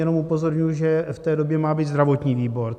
Jenom upozorňuji, že v té době má být zdravotní výbor.